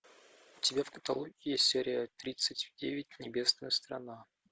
у тебя в каталоге есть серия тридцать девять небесная страна